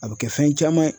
A bɛ kɛ fɛn caman ye